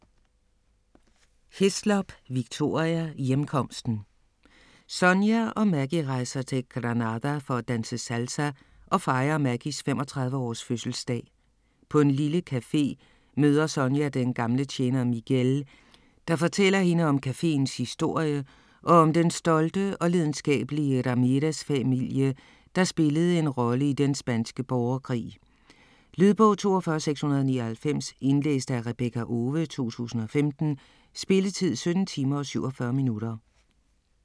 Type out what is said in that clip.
Hislop, Victoria: Hjemkomsten Sonia og Maggie rejser til Granada for at danse salsa og fejre Maggies 35 års fødselsdag. På en lille café møder Sonia den gamle tjener Miguel, der fortæller hende om cafeens historie og om den stolte og lidenskabelige Ramirez-familie, der spillede en rolle i den spanske borgerkrig. Lydbog 42699 Indlæst af Rebekka Owe, 2015. Spilletid: 17 timer, 47 minutter.